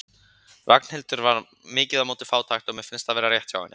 Ragnhildur var mikið á móti fátækt og mér fannst það vera rétt hjá henni.